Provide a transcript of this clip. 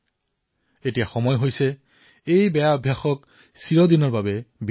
এতিয়া সেই সময় সমাগত এই কু অভ্যাসক সৰ্বদাৰ কাৰণে সমাপ্ত কৰাৰ